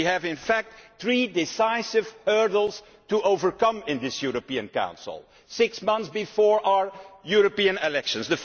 We have in fact three decisive hurdles to overcome in this European Council, six months before our European elections.